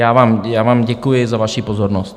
Já vám děkuji za vaší pozornost.